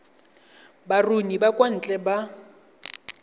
baruni ba kwa ntle ba